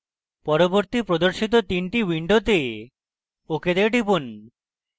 পরবর্তী প্রদর্শিত 3 the windows ok তে টিপুন